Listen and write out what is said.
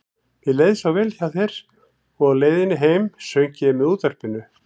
Mér leið svo vel hjá þér og á leiðinni heim söng ég með útvarpinu.